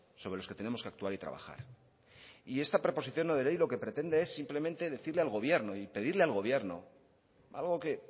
sobre los que tenemos que actuar y trabajar y esta proposición no de ley lo que pretende es simplemente decirle al gobierno y pedirle al gobierno algo que